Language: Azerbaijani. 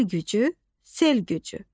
El gücü, sel gücü.